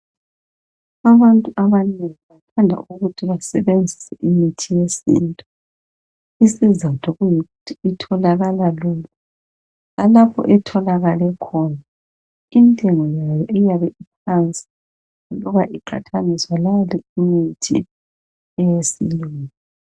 Abantu abanengi bathanda ukuthi basebenzise imithi yesintu. Isizatho kuyikuthi itholakala lula. Lalapha etholakale khona, intengo yayo iyabe iphansi. Loba iqathaniswa lale imithi, yesilungu.